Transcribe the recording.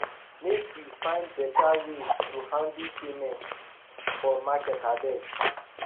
make we find better ways to handle payments for market abeg